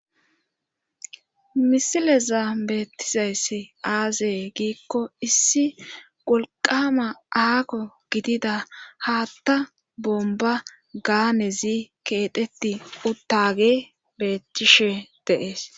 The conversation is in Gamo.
misileza beettizayssi aazee giikko issi wolqama aako gidida haatta bomba gaanezi keeteti uttage beetcthishe deees